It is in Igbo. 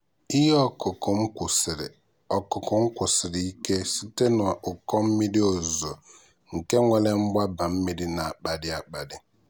ihe ọkụkụ m kwụsiri ọkụkụ m kwụsiri ike site na ụkọ mmiri ozuzo nke nwere mgbaba mmiri na-akpali akpali.